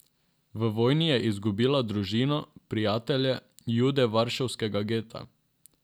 V vojni je izgubila družino, prijatelje, Jude varšavskega geta.